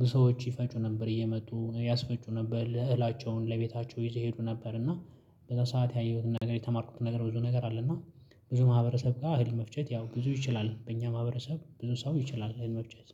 ብዙ ሰዎች ይፈጩ ነበር እየመጡ ያስፈጩ ነበር እህላቸውን ለቤታቸው ይዘው ይሄዱ ነበር። እና በዛ ሰዓት ያየሁትን ነገር የተማርኩትን ነገር ብዙ ነገር አለ። እና ብዙ ማህበረሰብ ጋር አህል መፍጨት ያው ብዙ ይችላል በእኛ ማህበረሰብ ብዙ ሰው ይችላል እህል መፍጨት